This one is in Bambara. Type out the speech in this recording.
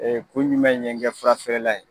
Ee ko ɲuman in ye n kɛ fura feerela ye